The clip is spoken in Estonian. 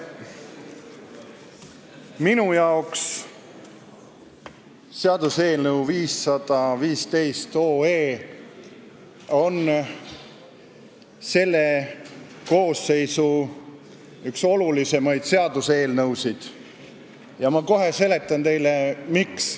Minu jaoks on seaduseelnõu 515 üks selle koosseisu kõige olulisemaid seaduseelnõusid ja ma kohe seletan teile, miks.